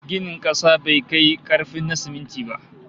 Ginin kasa bai kai karfin na siminti ba